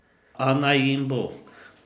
A naj jim bo.